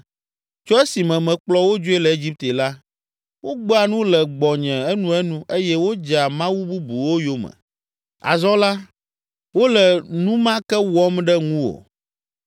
Tso esime mekplɔ wo dzoe le Egipte la, wogbea nu le gbɔnye enuenu eye wodzea mawu bubuwo yome. Azɔ la, wole nu ma ke wɔm ɖe ŋuwò.